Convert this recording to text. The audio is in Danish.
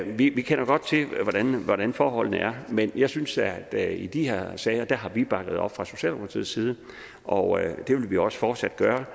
vi kender godt til hvordan forholdene er men jeg synes at i de her sager har vi bakket op fra socialdemokratiets side og det vil vi også fortsat gøre